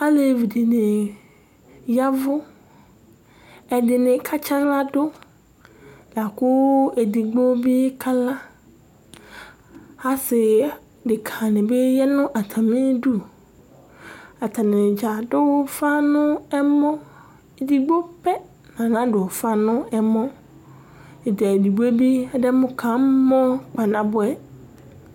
alevi dini yavó ɛdini ka tsa ala do lako edigbo bi kala ase deka ni bi ya no atami du atani dza ado ufa no ɛmɔ edigbo pɛ la nadò ufa n'ɛmɔ to edigboe bi ademo kamɔ kpanaboɛ